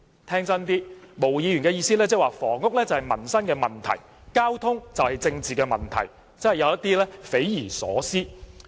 聽真一點，毛議員的意思是房屋是民生問題，交通是政治問題，真的有點匪夷所思。